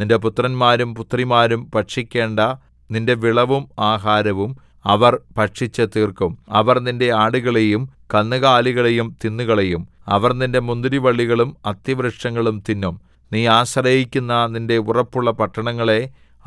നിന്റെ പുത്രന്മാരും പുത്രിമാരും ഭക്ഷിക്കേണ്ട നിന്റെ വിളവും ആഹാരവും അവർ ഭക്ഷിച്ചുതീർക്കും അവർ നിന്റെ ആടുകളെയും കന്നുകാലികളെയും തിന്നുകളയും അവർ നിന്റെ മുന്തിരിവള്ളികളും അത്തിവൃക്ഷങ്ങളും തിന്നും നീ ആശ്രയിക്കുന്ന നിന്റെ ഉറപ്പുള്ള പട്ടണങ്ങളെ